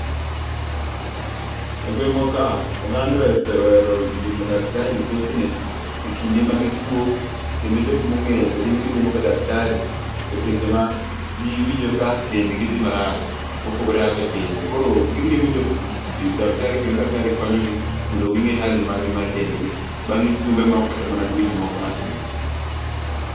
e gwengwa kae ogand aohero limo daktari thothne e kinde ma gituo kendo kendo jok ma ong'eyo to gin gi limo ga daktari e seche ma gi winjo ka dend gi dhi marach mopogore kaka pile ,koro gilimo daktari kedo daktari konyo gi mondo gi ng'e hali mar gi mar dend gi bang' bang' jumbe moko kata dweche moko matin